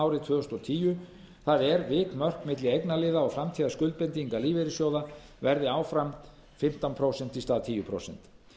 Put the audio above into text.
árið tvö þúsund og tíu það er að vikmörk milli eignarliða og framtíðarskuldbindinga lífeyrissjóða verði áfram fimmtán prósent í stað tíu prósent